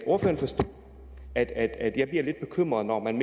ordføreren forstå at at jeg bliver lidt bekymret når man